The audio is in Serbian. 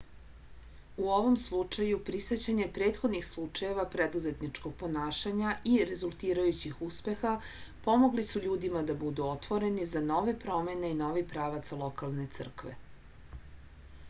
u ovom slučaju prisećanje prethodnih slučajeva preduzetničkog ponašanja i rezultirajućih uspeha pomogli su ljudima da budu otvoreni za nove promene i novi pravac lokalne crkve